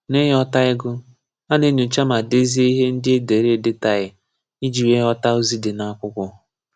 N'ịghọta ịgụ, a na-enyocha ma dezie ihe ndị e dere edetaghi, iji wee ghọta ozi dị n'akwụkwọ.